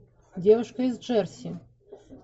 девушка из джерси